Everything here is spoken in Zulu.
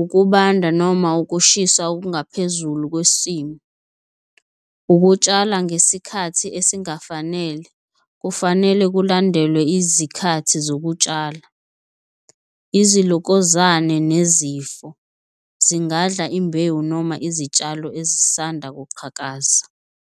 ukubanda noma ukushisa okungaphezulu kwesimo, ukutshala ngesikhathi esingafanele kufanele kulandelwe izikhathi zokutshala. Izilokozane nezifo zingadla imbewu noma izitshalo ezisanda kuqhakaza.